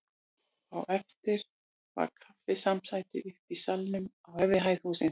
Á eftir var kaffisamsæti uppi í salnum á efri hæð hússins.